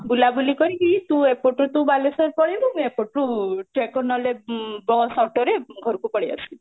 ବୁଲା ବୁଲି କରିକି ତୁ ଏପଟୁ ତୁ ବାଲେଶ୍ୱର ପଳେଇବୁ ମୁଁ ଏପଟୁ ନହଲେ bus auto ରେ ଘରକୁ ପଳେଇ ଆସିବି